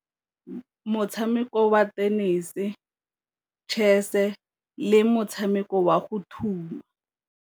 Motshameko wa tenese, chess-e le motshameko wa go thuma.